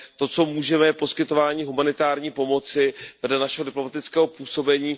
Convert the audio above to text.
To, co můžeme, je poskytování humanitární pomoci vedle našeho diplomatického působení.